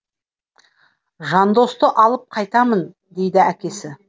жандосты алып қайтамын дейді әкесі